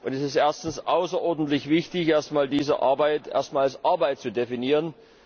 Es ist erstens außerordentlich wichtig, diese Arbeit erst mal als Arbeit zu definieren.